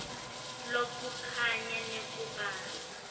lokulinganako kanye nekubamba